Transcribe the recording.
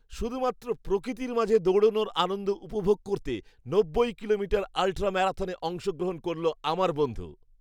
শুধুমাত্র প্রকৃতির মাঝে দৌড়ানোর আনন্দ উপভোগ করতে নব্বই কিলোমিটার আল্ট্রা ম্যারাথনে অংশগ্রহণ করলো আমার বন্ধু।